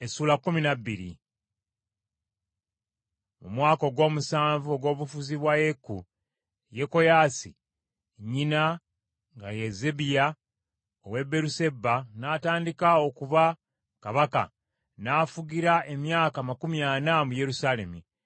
Mu mwaka ogw’omusanvu ogw’obufuzi bwa Yeeku, Yekoyaasi, nnyina nga ye Zebbiya ow’e Beeruseba, n’atandika okuba kabaka, n’afugira emyaka amakumi ana mu Yerusaalemi.